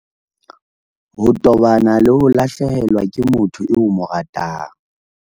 Ho tobana le ho lahlehelwa ke motho eo o mo ratang